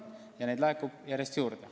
Ja raha laekub fondi järjest juurde.